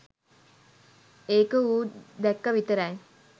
ඒක ඌ දැක්ක විතරයි